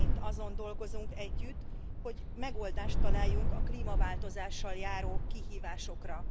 Mi mind azon dolgozunk együtt, hogy megoldást találjunk a klímaváltozással járó kihívásokra.